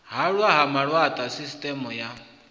hwalwa ha malaṱwa sisiṱeme ya